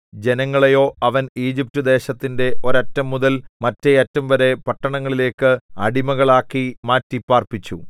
ജനങ്ങളെയോ അവൻ ഈജിപ്റ്റുദേശത്തിന്റെ ഒരറ്റംമുതൽ മറ്റേയറ്റംവരെ പട്ടണങ്ങളിലേക്ക് അടിമാകളാക്കി മാറ്റി പാർപ്പിച്ചു